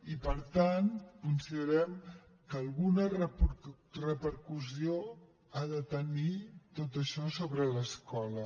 i per tant considerem que alguna repercussió ha de tenir tot això sobre l’escola